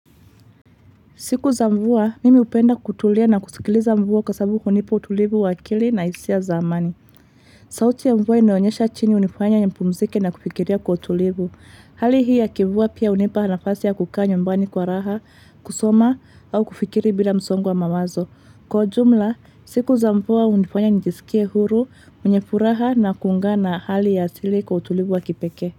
Siku za mvua, mimi upenda kutulia na kusikiliza mvua kwa sababu hunipa utulivu wakili na hisia zamani. Sauti ya mvua inoionyesha chini unifanya nye mpumzike na kufikiria kwa utulivu. Hali hii ya kivuwa pia unipa nafasi ya kukaa nyumbani kwa raha, kusoma, au kufikiri bila msongo mamazo. Kwa jumla, siku za mvua unifanya nijisikie huru, mnye furaha na kunga na hali ya sili kwa utulivu wa kipeke.